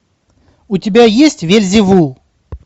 у тебя есть вельзевул